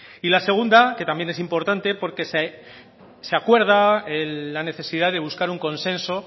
y la segunda que también es importante porque se acuerda la necesidad de buscar un consenso